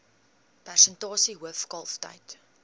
persentasie hoof kalftyd